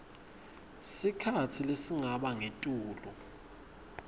sikhatsi lesingaba ngetulu